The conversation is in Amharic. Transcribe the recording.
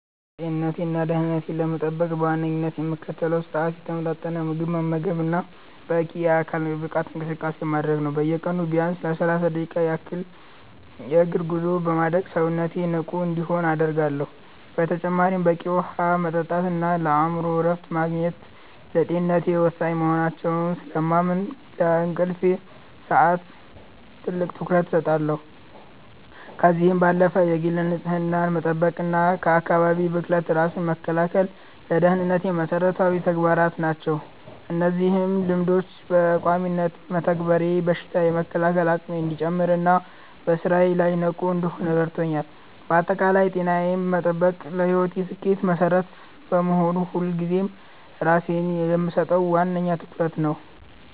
ጤንነቴንና ደህንነቴን ለመጠበቅ በዋነኝነት የምከተለው ስርአት የተመጣጠነ ምግብ መመገብና በቂ የአካል ብቃት እንቅስቃሴ ማድረግ ነው። በየቀኑ ቢያንስ ለሰላሳ ደቂቃ ያህል የእግር ጉዞ በማድረግ ሰውነቴ ንቁ እንዲሆን አደርጋለሁ። በተጨማሪም በቂ ውሃ መጠጣትና የአእምሮ እረፍት ማግኘት ለጤንነቴ ወሳኝ መሆናቸውን ስለማምን፣ ለእንቅልፍ ሰዓቴ ትልቅ ትኩረት እሰጣለሁ። ከዚህም ባለፈ የግል ንጽህናን መጠበቅና ከአካባቢ ብክለት ራስን መከላከል ለደህንነቴ መሰረታዊ ተግባራት ናቸው። እነዚህን ልማዶች በቋሚነት መተግበሬ በሽታ የመከላከል አቅሜ እንዲጨምርና በስራዬ ላይ ንቁ እንድሆን ረድቶኛል። ባጠቃላይ ጤናዬን መጠበቅ ለህይወቴ ስኬት መሰረት በመሆኑ፣ ሁልጊዜም ለራሴ የምሰጠው ዋነኛ ትኩረት ነው።